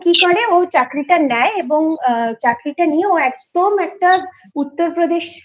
ও কি করে ও চাকরিটা নেয় এবং চাকরিটা নিয়ে একদম একটা উত্তরপ্রদেশের